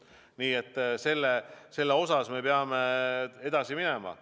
Nii et selle osas me peame edasi minema.